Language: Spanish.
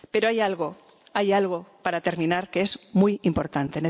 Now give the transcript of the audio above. Pero hay algo, hay algo, para terminar, que es muy importante.